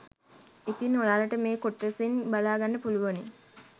ඉතින් ඔයාලට මේ කොටසින් බලා ගන්න පුළුවනි